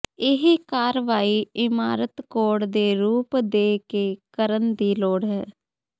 ਇਹ ਕਾਰਵਾਈ ਇਮਾਰਤ ਕੋਡ ਦੇ ਰੂਪ ਦੇ ਕੇ ਕਰਨ ਦੀ ਲੋੜ ਹੈ